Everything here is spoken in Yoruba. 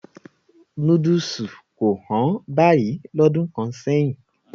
Núdùsù kò hán báyìí lọ́dún kan sẹ́yìn.